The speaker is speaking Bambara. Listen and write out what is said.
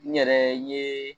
N yɛrɛ n yee